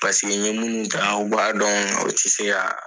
Paseke n ɲɛ minnu u b'a dɔn aw tɛ se ka